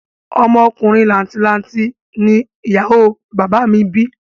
Ọmọ ọkùnrin làǹtì lanti ni ìyàwó o bàbá à mi bí